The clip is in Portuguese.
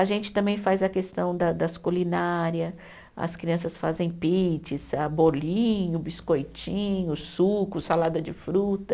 A gente também faz a questão da das culinária, as crianças fazem pizza, bolinho, biscoitinho, suco, salada de fruta.